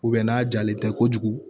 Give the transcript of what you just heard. n'a jalen tɛ kojugu